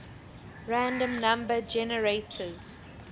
random number generators